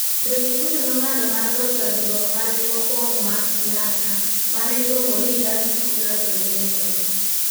Jo-Kikuyu nong'ado mar loso riwruok margi mokwongo mar siasa, ma ne iluongo ni Young Kikuyu Association.